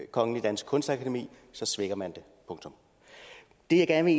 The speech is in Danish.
kongelige danske kunstakademi så svækker man det punktum det jeg gerne